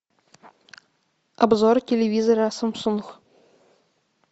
обзор телевизора самсунг